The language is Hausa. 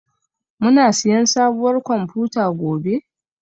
Muna siyan sabuwar kwamfuta gobe?